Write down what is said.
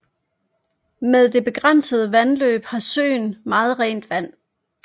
Med det begrænsede vandtilløb har søen meget rent vand